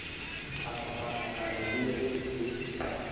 a hlakahlakanya le ge se